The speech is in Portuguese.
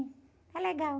É legal.